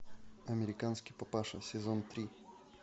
американский папаша сезон три